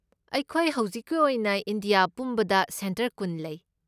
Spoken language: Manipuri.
ꯑꯩꯈꯣꯏ ꯍꯧꯖꯤꯛꯀꯤ ꯑꯣꯏꯅ ꯏꯟꯗꯤꯌꯥ ꯄꯨꯝꯕꯗ ꯁꯦꯟꯇꯔ ꯀꯨꯟ ꯂꯩ꯫